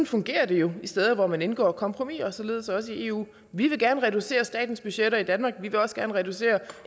fungerer det jo de steder hvor man indgår kompromiser således også i eu vi vil gerne reducere statens budgetter i danmark og vi vil også gerne reducere